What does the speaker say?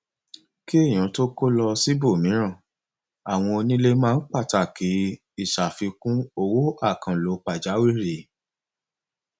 kí èyàn tó kó lọ síbòmíràn àwọn onílé máa ń pàtàkì ìṣàfikùn owó àkànlò pàjàwìrì